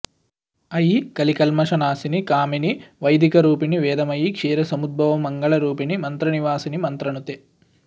अयि कलिकल्मषनाशिनि कामिनि वैदिकरूपिणि वेदमयि क्षीरसमुद्भवमङ्गलरूपिणि मन्त्रनिवासिनि मन्त्रनुते